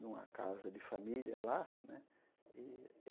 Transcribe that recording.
numa casa de família lá né. E